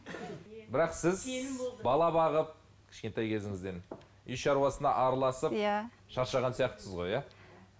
бірақ сіз бала бағып кішкентай кезіңізден үй шаруасына араласып иә шаршаған сияқтысыз ғой иә